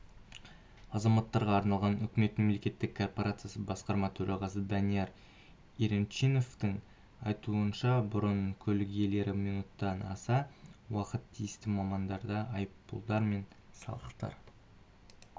азаматтарға арналған үкімет мемлекеттік корпорациясы басқарма төрағасы данияр еренчиновтің айтуынша бұрын көлік иелері минуттан аса уақытын тиісті мамандарда айыппұлдар мен салықтар